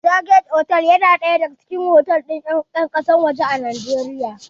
Joygate otal yana ɗaya daga cikin otal ɗin ƴan ƙasar waje a Najeriya